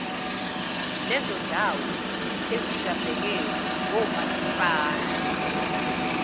lezondawo ezingabhekelwe ngomasipala